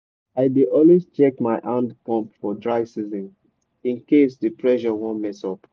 i dey always check my hand pump for dry season in case the pressure wan mess up.